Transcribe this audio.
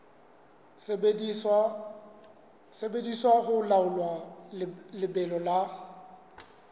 sebediswa ho laola lebelo la